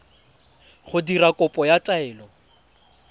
go dira kopo ya taelo